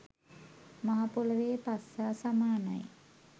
මහ පොළොවේ පස් හා සමානයි